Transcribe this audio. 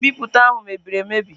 Ihe nbipute ahụ mebiri emebi.